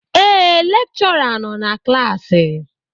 Ee, lekchọra nọ na klaasị